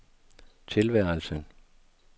tilværelsen